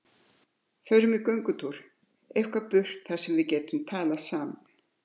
Förum í göngutúr, eitthvað burt þar sem við getum talað saman